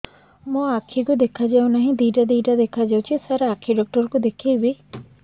ମୋ ଆଖିକୁ ଦେଖା ଯାଉ ନାହିଁ ଦିଇଟା ଦିଇଟା ଦେଖା ଯାଉଛି ସାର୍ ଆଖି ଡକ୍ଟର କୁ ଦେଖାଇବି